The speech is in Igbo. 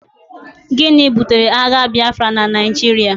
Gịnị butere agha Biafra na Naijiria?